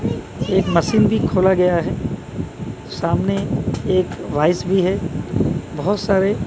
एक मशीन भी खोला गया है सामने एक वाइज भी है बहुत सारे --